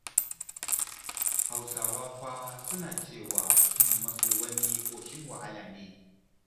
Hausawa fa suna cewa son maso wani ƙoshin wahala ne.